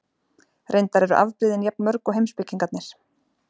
Reyndar eru afbrigðin jafn mörg og heimspekingarnir.